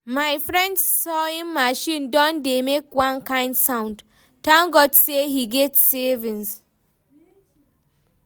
my friend sawing machine don dey make one kind sound, thank God say he get savings